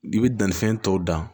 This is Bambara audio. I bɛ dannifɛn tɔ dan